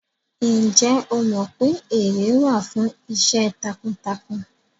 Ǹjẹ́ o mọ pé ère wà fún iṣẹ́ takuntakun?